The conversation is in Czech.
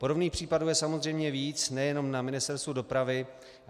Podobných případů je samozřejmě víc, nejenom na Ministerstvu dopravy.